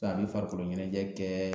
a bi farikolo ɲɛnajɛ kɛ